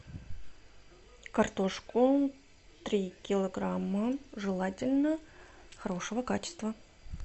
картошку три килограмма желательно хорошего качества